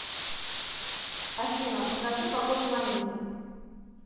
афина покажи погоду на месяц